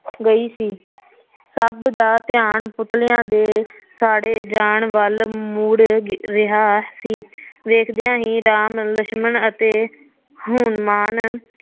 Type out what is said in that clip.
ਗਈ ਸੀ ਸੱਭ ਦਾ ਧਿਆਨ ਪੁਤਲਿਆ ਦੇ ਸਾੜੇ ਜਾਣ ਵੱਲ ਮੁੜ ਰਿਹਾ ਸੀ ਵੇਖਦਿਆ ਹੀ ਰਾਮ ਲਛਮਣ ਅਤੇ ਹਨੂਮਾਨ